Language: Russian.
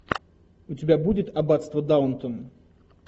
у тебя будет аббатство даунтон